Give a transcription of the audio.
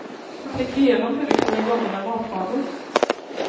Tänk igenom hur du kan lägga om dina matvanor.